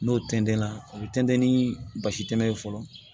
N'o tɛntɛnna o bɛ tɛntɛn ni basi tɛmɛ ye fɔlɔ